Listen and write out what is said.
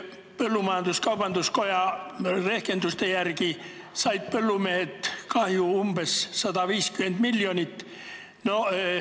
Põllumajandus-kaubanduskoja rehkenduste järgi on põllumehed saanud kahju umbes 150 miljonit.